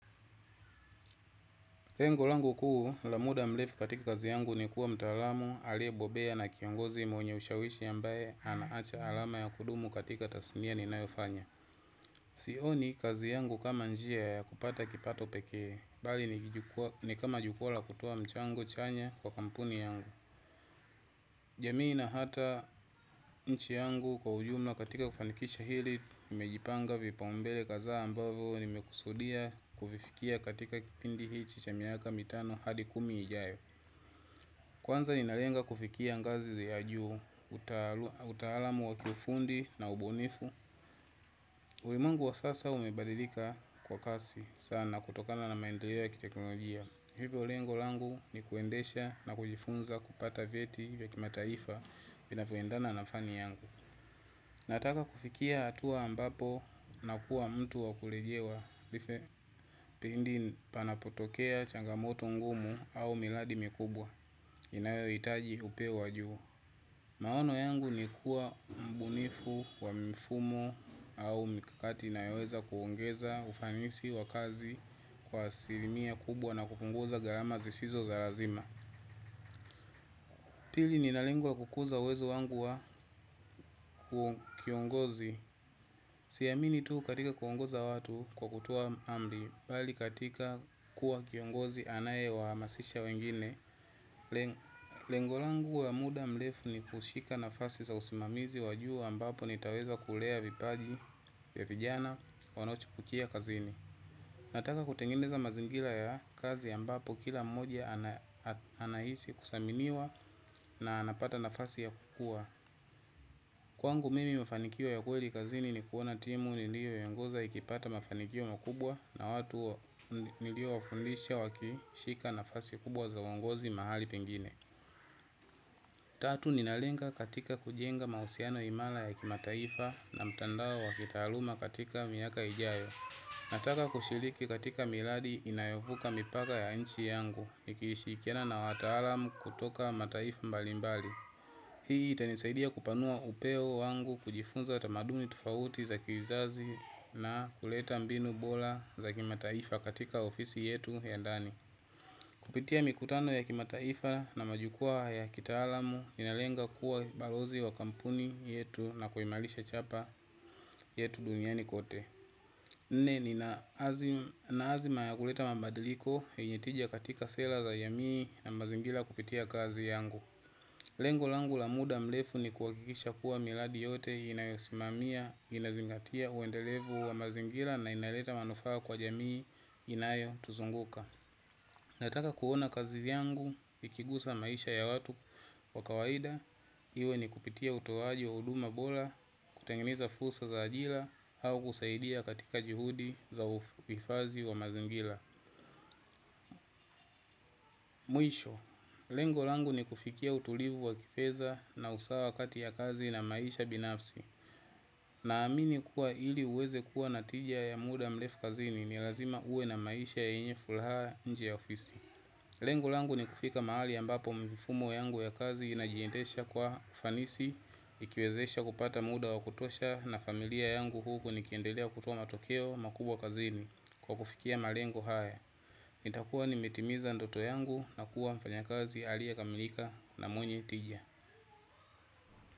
Lengolangu kuu, lamuda mlefu katika kazi yangu ni kuwa mtaalamu, alie bobea na kiongozi mwenye ushawishi yambaye anaacha alama ya kudumu katika tasimia ni nayofanya. Sioni kazi yangu kama njia ya kupata kipato pekee, bali ni kama jukula kutua mchango chanya kwa kampuni yangu. Jamii na hata mchi yangu kwa ujumla katika kufanikisha hili, nimejipanga vipa umbele kadha ambavo nimekusudia kufifikia katika kipindi hichi cha miaka mitano hadi kumi ijayo. Kwanza ninalenga kufikia ngazi ze ajuu, utahalamu wakifundi na ubunifu. Ulimuengu wa sasa umebadidika kwa kasi sana kutokana na maendeleo ya kiteknolojiya. Hivyo lengo langu ni kuendesha na kujifunza kupata vieti vya kimataifa mi napendana nafani yangu. Nataka kufikia hatuwa ambapo na kuwa mtu wakulegewa Life pindi panapotokea changa moto ngumu au miradi mikubwa inayo hitaji upeo wa juu. Maono yangu ni kuwa mbunifu wa mifumo au mikakati inayoweza kuongeza ufanisi wa kazi kwa asilimia kubwa na kupunguza gharama zisizo za lazima pili nina lengo la kukuza uwezo wangu wa kiongozi siamini tu katika kuongoza watu kwa kutoa amri bali katika kuwa kiongozi anaye wahamasisha wengine lengo lengo langu wa muda mrefu ni kushika nafasi za usimamizi wa juu ambapo nitaweza kulea vipaji vya vijana wanochipukia kazini. Nataka kutengeneza mazingira ya kazi ambapo kila mmoja anahisi kusaminiwa na anapata nafasi ya kukua. Kwangu mimi mfanikio ya kweli kazini ni kuona timu nilio iongoza ikipata mafanikio makubwa na watu nilio wafundisha waki shika nafasi kubwa za uongozi mahali pengine. Tatu nina lenga katika kujenga mahusiano imara ya kima taifa na mtandao wa kitaaluma katika miaka ijayo. Nataka kushiriki katika miradi inayovuka mipaka ya nchi yangu. Ikishirikiana na wataalam kutoka mataifa mbalimbali. Hii itanisaidia kupanua upeo wangu kujifunza tamaduni tofauti za kizazi na kuleta mbinu bora za kimataifa katika ofisi yetu ya ndani. Kupitia mikutano ya kimataifa na majukua ya kitaalam, ninalenga kuwa balozi wa kampuni yetu na kuimarisha chapa yetu duniani kote. Mimi nina, azima ya kuleta mabadiliko, yenye tija katika sera za jamii na mazingira kupitia kazi yangu. Lengo langu la muda mrefu ni kuhakikisha kuwa miradi yote inayosimamia, inazingatia uendelevu wa mazingira na inaleta manufaa kwa jamii inayotuzunguka. Nataka kuona kazi yangu, ikigusa maisha ya watu wa kawaida, iwe ni kupitia utoaji wa huduma bora, kutengeneza fursa za ajira, au kusaidia katika juhudi za uifadhi wa mazingira. Mwisho, lengo langu ni kufikia utulivu wa kifedha na usawa kati ya kazi na maisha binafsi. Na amini kuwa ili uweze kuwa na tija ya muda mrefu kazini ni lazima uwe na maisha yenye fulaha nje ya ofisi. Lengu langu ni kufika mahali ambapo mifumo yangu ya kazi inajiendesha kwa ufanisi, ikiwezesha kupata muda wa kutosha na familia yangu huku nikiendelea kutuoa matokeo makubwa kazini kwa kufikia malengo haya. Nitakua nimetimiza ndoto yangu na kuwa mfanyikazi aliyekamilika na mwenye tija.